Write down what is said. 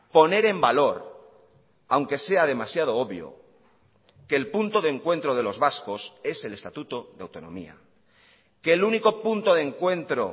poner en valor aunque sea demasiado obvio que el punto de encuentro de los vascos es el estatuto de autonomía que el único punto de encuentro